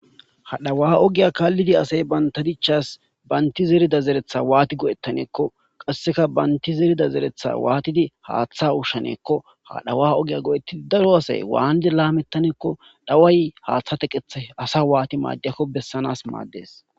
Ha dhawa ogiya kaalidi asayi banta dichasi banta zeriya zerethasi waati go'etaneko qaseka banti zerida zeretha waatidi haatha ushaneko , ha dhawa ogiya go'etidi daro asayi wati lametaneko , dhaway Hatha teqethibasa waati madiyako besanasi maadesi.